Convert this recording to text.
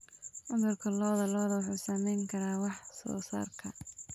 Cudurka lo'da lo'da wuxuu saameyn karaa wax soo saarka.